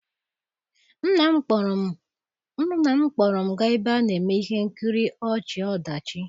Nna m kpọrọ m gaa ebe a na-eme ihe nkiri ọchị-ọdachi